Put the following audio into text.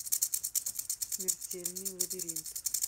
смертельный лабиринт